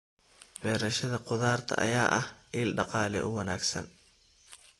Beerashada khudaarta ayaa ah il dhaqaale oo wanaagsan.